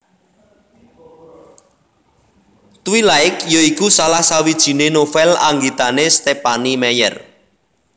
Twilight ya iku salah sawijiné novèl anggitané Stephenie Meyer